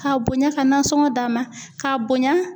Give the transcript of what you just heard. K'a bonya ka nasɔngɔ d'a ma k'a bonya